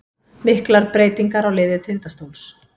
Miklar breytingar á liði Tindastóls